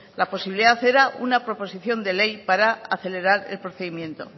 la posibilidad era una proposición de ley para acelerar el procedimiento